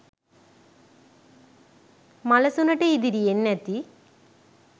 මලසුනට ඉදිරියෙන් ඇති